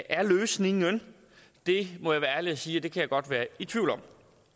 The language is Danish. er løsningen må jeg være ærlig at sige at jeg kan godt være i tvivl om